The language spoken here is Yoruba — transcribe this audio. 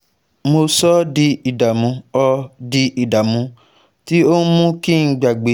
mo sọ ọ́ di ìdààmú ọ́ di ìdààmú tí ó mú kí n gbàgbé